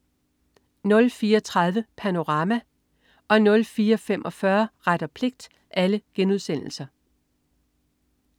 04.30 Panorama* 04.45 Ret og pligt*